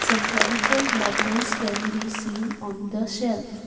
some fevical bottles can be seen on the shelves .